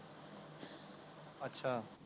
ਅੱਛਾ